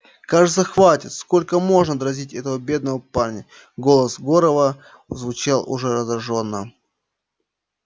кажется хватит сколько можно дразнить этого бедного парня голос горова звучал уже раздражённо